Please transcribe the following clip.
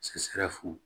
Sɛfu